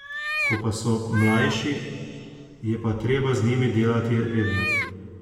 Ko pa so mlajši, je pa treba z njimi delati redno.